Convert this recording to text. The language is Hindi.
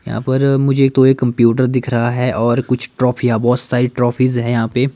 यहां पर मुझे तो एक कंप्यूटर दिख रहा है और कुछ ट्रॉफी या बहोत सारी ट्रॉफीज है यहां पे।